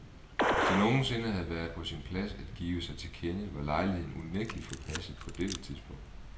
Hvis det nogen sinde havde været på sin plads at give sig til kende, var lejligheden unægtelig forpasset på dette tidspunkt.